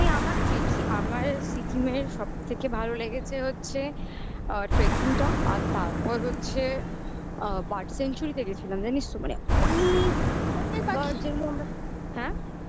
ওখানে আমার trip এ আমার সিকিমের সব থেকে ভালো লেগেছে হচ্ছে tracking টা আর তারপর হচ্ছে আ Bird Sanctuary তে গেছিলাম জানিস তো মানে অনেক গাছের মধ্যে অনেক পাখি হ্যাঁ?